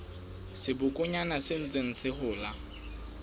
sebokonyana se ntseng se hola